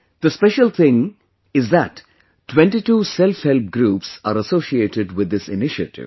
The special thing is that 22 SelfHelp Groups are associated with this initiative